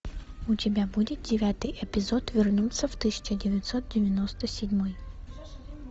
у тебя будет девятый эпизод вернуться в тысяча девятьсот девяносто седьмой